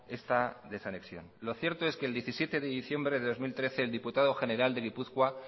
esta desanexión lo cierto es que el diecisiete de diciembre de dos mil trece el diputado general de gipuzkoa